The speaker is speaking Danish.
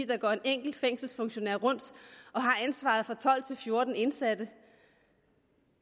der går en enkelt fængselsfunktionær rundt og har ansvaret for tolv til fjorten indsatte